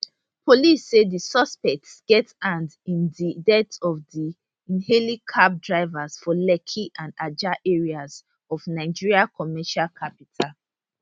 police say di suspects get hand in di death of di ehailing cab drivers for lekki and ajah areas of nigeria commercial capital